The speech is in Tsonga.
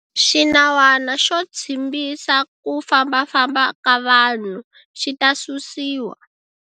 Xinawana xo tshimbisa ku fambafamba ka vanhu xi ta susiwa.